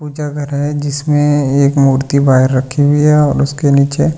पूजा घर है जिसमें एक मूर्ति बाहिर रखी हुई है और उसके नीचे बहुत --